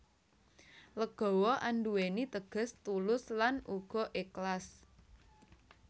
Legawa andhuweni teges tulus lan uga eklas